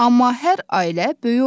Amma hər ailə böyük olmur.